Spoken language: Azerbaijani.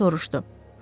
Co soruşdu.